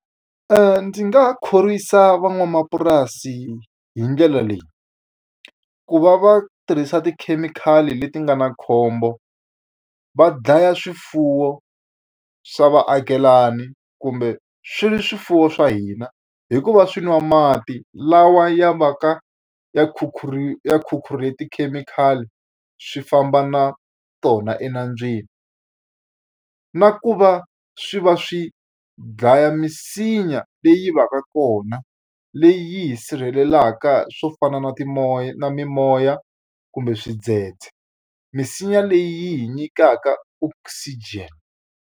Ndzi nga khorwisa van'wamapurasi hi ndlela leyi, ku va va tirhisa tikhemikhali leti nga na khombo, va dlaya swifuwo swa vaakelani kumbe swi swifuwo swa hina hi ku va swi nwa mati lawa ya va ka ya khukhure tikhemikhali swi famba na tona enandzwini. Na ku va swi va swi dlaya misinya leyi va ka kona leyi sirhelelaka swo fana na na mimoya, kumbe xidzedze. Misinya leyi yi hi nyikaka oxygen.